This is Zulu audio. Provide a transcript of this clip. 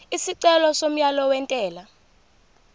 isicelo somyalo wentela